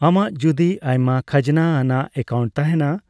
ᱟᱢᱟᱜ ᱡᱩᱫᱤ ᱟᱭᱢᱟ ᱠᱷᱟᱡᱱᱟ ᱟᱱᱟᱜ ᱮᱠᱟᱭᱩᱱᱴ ᱛᱟᱦᱮᱸᱱᱟ,